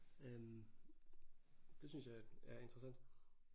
Øh det synes jeg er interessant